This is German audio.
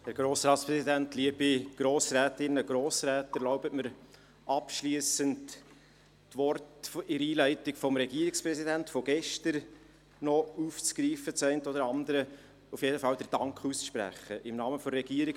Erlauben Sie mir abschliessend, das eine oder andere aus den einleitenden Worten des Regierungspräsidenten von gestern noch aufzugreifen und auf jeden Fall im Namen der Regierung